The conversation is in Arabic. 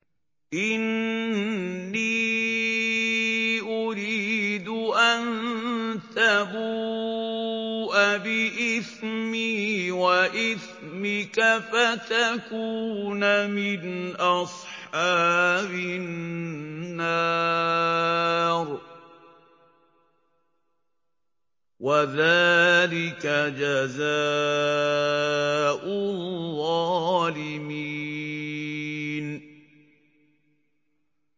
إِنِّي أُرِيدُ أَن تَبُوءَ بِإِثْمِي وَإِثْمِكَ فَتَكُونَ مِنْ أَصْحَابِ النَّارِ ۚ وَذَٰلِكَ جَزَاءُ الظَّالِمِينَ